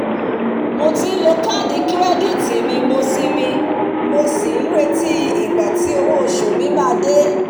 mo ti n lo kaadi kirẹditi mi mo sì mi mo sì n retí igba tí owo osu mi maa de